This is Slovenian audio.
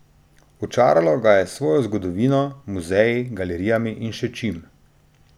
Očaralo ga je s svojo zgodovino, muzeji, galerijami in še čim.